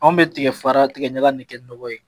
An bɛ tigɛ fara tigɛ ɲaga in de kɛ nɔgɔ ye.